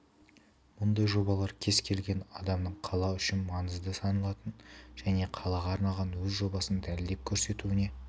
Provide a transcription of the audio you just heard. мұндай жобалар кез келген адамның қала үшін маңызды саналатын және қалаға арналған өз жобасын дәлелдеп көрсетуіне